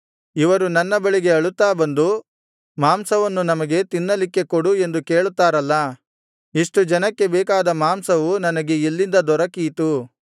ಇವರು ನನ್ನ ಬಳಿಗೆ ಅಳುತ್ತಾ ಬಂದು ಮಾಂಸವನ್ನು ನಮಗೆ ತಿನ್ನಲಿಕ್ಕೆ ಕೊಡು ಎಂದು ಕೇಳುತ್ತಾರಲ್ಲಾ ಇಷ್ಟು ಜನಕ್ಕೆ ಬೇಕಾದ ಮಾಂಸವು ನನಗೆ ಎಲ್ಲಿಂದ ದೊರಕೀತು